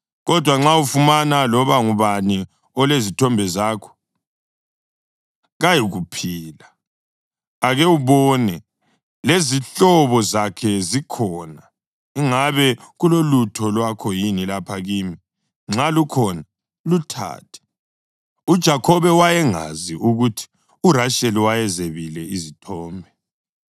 Kodwa nxa ufumana loba ngubani olezithombe zakho, kayikuphila. Ake ubone, lezihlobo zakho zikhona, ingabe kulolutho lwakho yini lapha kimi; nxa lukhona, luthathe.” UJakhobe wayengazi ukuthi uRasheli wayezebile izithombe.